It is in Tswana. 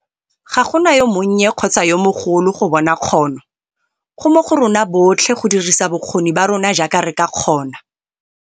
Ga go na yo monnye kgotsa yo mogolo go bona kgono - go mo go rona botlhe go dirisa bokgoni ba rona jaaka re ka kgona.